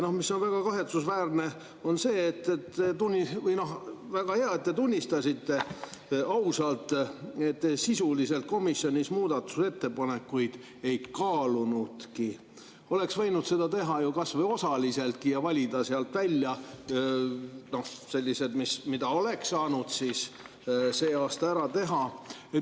Ja mis on väga kahetsusväärne – väga hea, et te siiski tunnistasite seda ausalt –, et sisuliselt te komisjonis muudatusettepanekuid ei kaalunudki, aga oleks võinud seda teha kas või osaliseltki ja valida sealt välja sellised, mis oleks saanud see aasta ära teha.